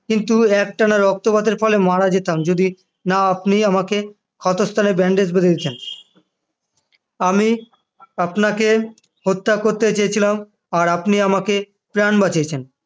কিন্তু একটানা রক্তপাতের ফলে মারা যেতাম যদি না আপনি আমাকে ক্ষত স্থানে bandage বেঁধে দিতেন আমি আপনাকে হত্যা করতে চেয়েছিলাম করেছেন আর আপনি আমাকে প্রাণ বাঁচিয়েছেন